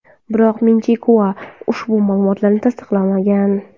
Biroq Min-Chi Kuo ushbu ma’lumotni tasdiqlamagan.